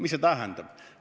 Mis see tähendab?